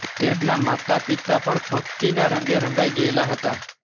તેમના માતાપિતા પણ ભક્તિનાં રંગે રંગાઈ ગયેલા હતાં